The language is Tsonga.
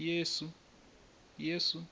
yesu